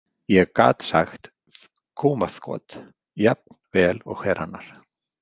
Ég gat sagt þkúmaþkot jafn vel og hver annar.